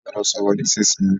A gbọ́dọ̀ sọ̀rọ̀ nísìsiyìí!